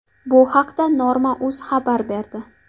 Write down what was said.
Bu haqda Norma.uz xabar berdi .